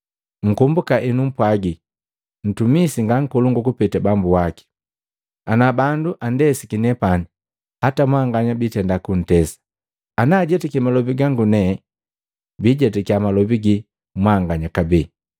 Nkombuka ennupwaji ntumisi nga nkolongu kupeta bambu waki. Ana bandu andesiki nepani hata mwanganya bitenda kuntesa, ana ajetaki malobi gangu nepani bijetakiya malobi ginu mwanganya kabee.